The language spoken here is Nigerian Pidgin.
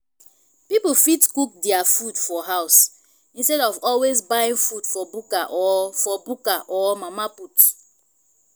pipo fit cook their food for house instead of always buying food for bukka or for bukka or mama put